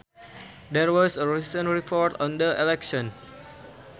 There was a recent report on the election